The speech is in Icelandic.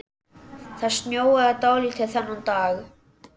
Það snjóaði dálítið þennan dag.